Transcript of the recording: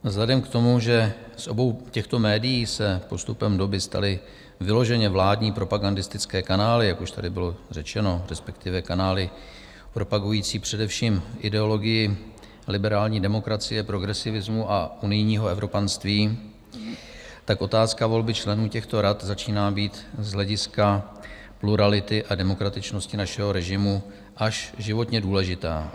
Vzhledem k tomu, že z obou těchto médií se postupem doby staly vyloženě vládní propagandistické kanály, jak už tady bylo řečeno, respektive kanály propagující především ideologii liberální demokracie, progresivismu a unijního evropanství, tak otázka volby členů těchto rad začíná být z hlediska plurality a demokratičnosti našeho režimu až životně důležitá.